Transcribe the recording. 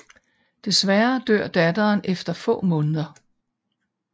Desværre dør datteren efter få måneder